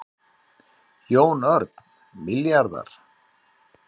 Jón Örn: Milljarðar?